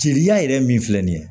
Jeliya yɛrɛ min filɛ nin ye